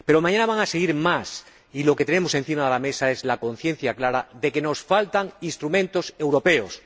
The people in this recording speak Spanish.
Pero mañana van a seguir más, y lo que tenemos encima de la mesa es la conciencia clara de que nos faltan instrumentos europeos.